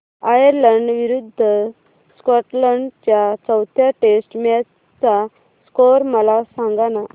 Ireland विरूद्ध Scotland च्या चौथ्या टेस्ट मॅच चा स्कोर मला सांगना